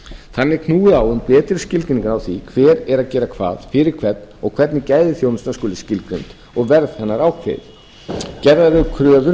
þannig er knúið á um betri skilgreiningar á því hver er að gera hvað fyrir hvern og hvernig gæði þjónustunnar skuli skilgreind og verð hennar ákveðið gerðar eru kröfur um